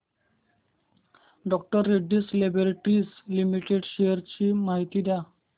डॉ Reddy's laboratories limited shares ची माहिती द्या